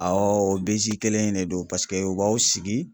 o kelen in de don paseke u b'aw sigi.